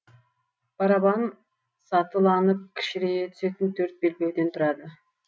барабан сатыланып кішірейе түсетін төрт белдеуден тұрады